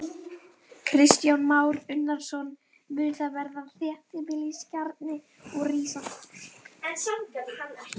Kristján Már Unnarsson: Mun þar verða þéttbýliskjarni og rísa þorp?